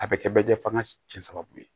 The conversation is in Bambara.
A bɛ kɛ bɛ jɛ f'an ka cɛ sababu ye